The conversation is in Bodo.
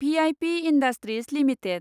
V I P Industries limited